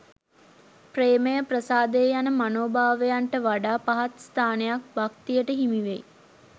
ප්‍රේමය, ප්‍රසාදය යන මනෝභාවයන්ට වඩා පහත් ස්ථානයක් භක්තියට හිමිවෙයි.